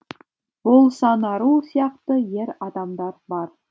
болсанару сияқты ер адамдар бар